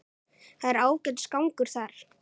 Það er ágætis gangur þar.